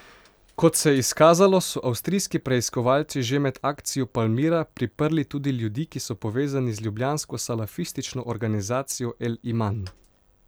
Kot se je izkazalo, so avstrijski preiskovalci že med akcijo Palmira priprli tudi ljudi, ki so povezani z ljubljansko salafistično organizacijo El Iman.